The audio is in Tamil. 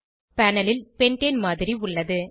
பேனல் ல் பென்டேன் மாதிரி உள்ளது